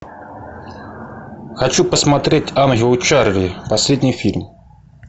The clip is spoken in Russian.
хочу посмотреть ангелы чарли последний фильм